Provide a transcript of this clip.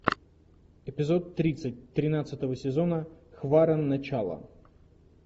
эпизод тридцать тринадцатого сезона хваран начало